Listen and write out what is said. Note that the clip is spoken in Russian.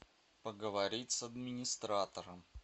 поговорить с администратором